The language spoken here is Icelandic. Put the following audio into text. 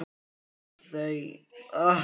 Þegar þau hjónin koma til Íslands